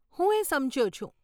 હું એ સમજ્યો છું.